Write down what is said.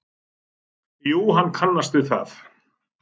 Jú, hann kannaðist við það.